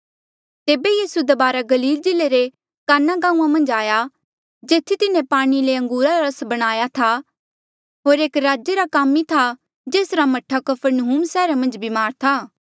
तेबे यीसू दबारा गलील जिल्ले रे काना गांऊँआं मन्झ आया जेथी तिन्हें पाणी ले अंगूरा रा रस बणाया था होर एक राजे रा कामी था जेसरा मह्ठा कफरनहूम सैहरा मन्झ ब्मार था